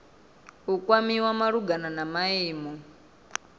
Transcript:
u kwamiwa malugana na maimo